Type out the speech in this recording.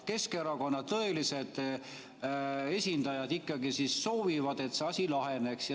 Keskerakonna tõelised esindajad ikkagi soovivad, et see asi laheneks.